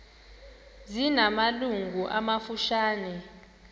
zina malungu amafutshane